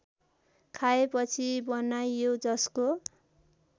खाएपछि बनाइयो जसको